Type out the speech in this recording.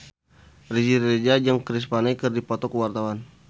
Riri Reza jeung Chris Pane keur dipoto ku wartawan